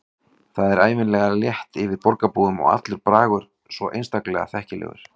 Það er ævinlega létt yfir borgarbúum og allur bragur svo einstaklega þekkilegur.